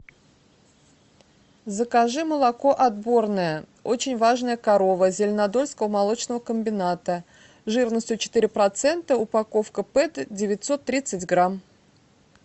закажи молоко отборное очень важная корова зеленодольского молочного комбината жирностью четыре процента упаковка пэт девятьсот тридцать грамм